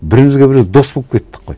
бірімізге біріміз дос болып кеттік қой